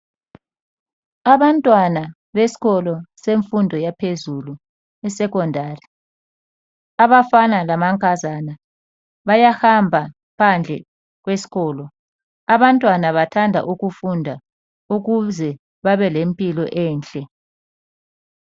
Abantwana besikolo semfundo yaphezulu yesecondary abafana lamankazana bayahamba phandle kwesikolo abantwana bathanda ukufunda ukuze babelempilo enhle.